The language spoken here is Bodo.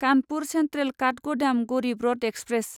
Kanpur central Kathgodam Garib Rath express